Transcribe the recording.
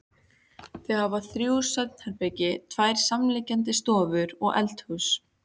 Þau hafa þrjú svefnherbergi, tvær samliggjandi stofur og eldhús.